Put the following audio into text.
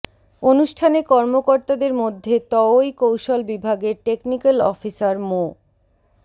অনুষ্ঠানে কর্মকর্তাদের মধ্যে তওই কৌশল বিভাগের টেকনিক্যাল অফিসার মো